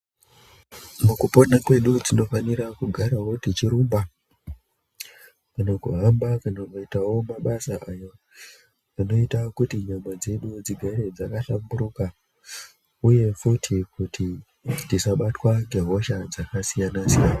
Mukupona kwedu tinofanirawo kugara techirumba, kana kuhamba ,kana kuitawo mabasa ayo, anoita kuti nyama dzedu dzigare dzakahlamburuka, uye futi kuti ,tisaabatwa ngehosha dzakasiyana-siyana.